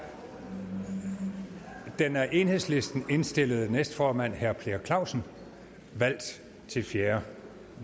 den af enhedslisten indstillede næstformand herre per clausen valgt til fjerde